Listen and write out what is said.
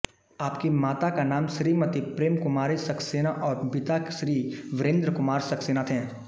आपकी माता का नाम श्रीमति प्रेम कुमारी सक्सेना और पिता श्री वीरेन्द्र कुमार सक्सेना थे